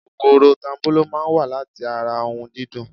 Kòkòrò tanbolo máa ń wa láti ara ohun dídùn.